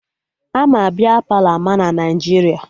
Ama Bia Palọ ama na Naijiria